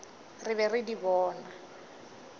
re be re di bona